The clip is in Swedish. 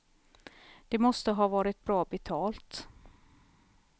Det måste ha varit bra betalt.